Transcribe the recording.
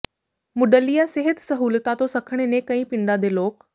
ਮੁੱਢਲੀਆਂ ਸਿਹਤ ਸਹੂਲਤਾਂ ਤੋਂ ਸੱਖਣੇ ਨੇ ਕਈ ਪਿੰਡਾਂ ਦੇ ਲੋਕ